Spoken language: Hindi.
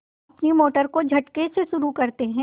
अपनी मोटर को झटके से शुरू करते हैं